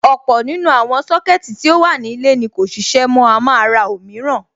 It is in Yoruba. Ọ̀pọ̀ nínú àwọn Sọ́kẹ̀tì tí ó wà ní ilé ni kò ṣiṣẹ́ mọ́, a máa ra òmíràn.